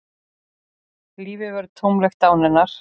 Lífið verður tómlegt án hennar.